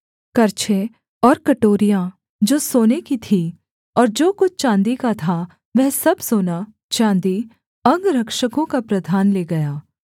करछे और कटोरियाँ जो सोने की थीं और जो कुछ चाँदी का था वह सब सोना चाँदी अंगरक्षकों का प्रधान ले गया